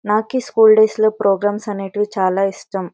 నాకి ఈ school days లో ప్రోగ్రామ్స్ అనేటివి చాలా ఇష్టం.